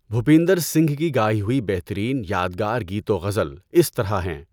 بھوپندر سِنگھ کی گائی ہوئی بہترین یادگار گیت و غزل اِس طرح ہیں